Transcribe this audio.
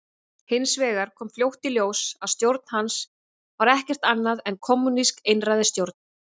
Hins vegar kom fljótt í ljós að stjórn hans var ekkert annað en kommúnísk einræðisstjórn.